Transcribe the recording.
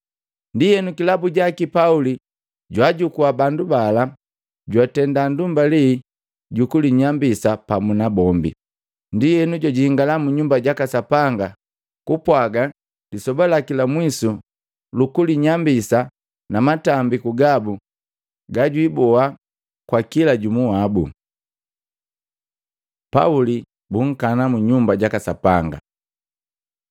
Ndienu, kilabu jaki Pauli jwaajukua bandu bala jwatenda ndumbali jukulinyambisa pamu nabombi. Ndienu jwajingala mu Nyumba jaka Sapanga kupwaga lisoba laki la mwisu lukulinyambisa na matambiku gabu gajwiboa kwa kila jumu wabu. Pauli bunkamu mu Nyumba jaka Sapanga